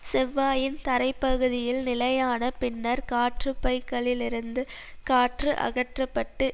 செவ்வாயின் தரை பகுதியில் நிலையான பின்னர் காற்றுப்பைகளிலிருந்து காற்று அகற்ற பட்டு